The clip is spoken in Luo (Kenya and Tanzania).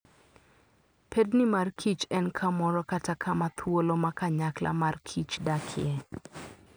Pedni mar kich en kamoro kata kama thuolo ma kanyakla mar kich dakie